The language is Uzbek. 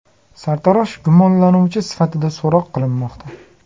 Sartarosh gumonlanuvchi sifatida so‘roq qilinmoqda.